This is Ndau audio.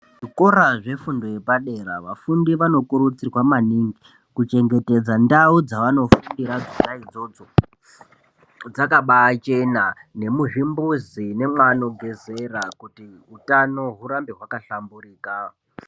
Zvikora zvefundo yepadera, vafundi vanokurudzirwa maningi kuchengetedza ndau dzavanofundira dzona idzodzo dzakabaichena, nemuzvimbuzi, nemwaano gezera kuti utano hurambe hwakahlamburuka.